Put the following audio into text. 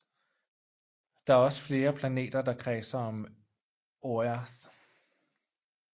Der er også flere planeter der kredser om Oerth